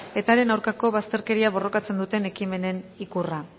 eta haren aurkako bazterkeria borrokatzen duten ekimenen ikurra